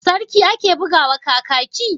Sarki ake buga wa Kakaki?